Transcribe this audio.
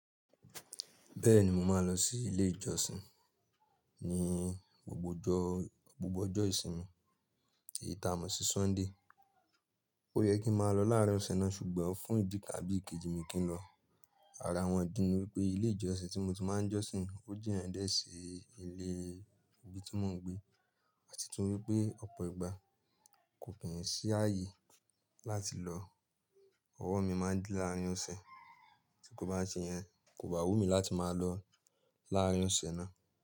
Bẹ́ẹ̀ni mo máa ń lọ sí ilé ìjọsìn ní gbogbo ọjọ́ ìsinmi èyí ta mọ̀ sí Sunday. Ó yẹ kí máa lọ láàárín ọ̀sẹ̀ náà ṣùgbọ́n fún ìdí káàbí kejì mi kì í lọ. Ara wọn idí ni wípé, ilé ìjọsìn tí mo ti máa ń j'ọ́sìn ó jina die si ilé. Ibi tí mò ń gbé àti tún wípé ọ̀pọ̀ ìgbà kò pín sí ààyè láti lọ. Ọwọ́ mi máa ń dí láàárín ọ̀sẹ̀, tí kò bá ṣe yẹn kò bá wù mí láti máa lọ láàárín ọ̀sẹ̀ náà.